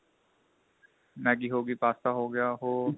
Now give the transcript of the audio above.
Maggi ਹੋ ਗਾਈ pasta ਹੋ ਗਿਆ ਉਹ